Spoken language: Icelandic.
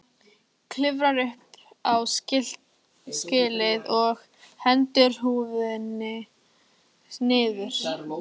Klifrar upp á skýlið og hendir húfunni niður.